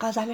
موی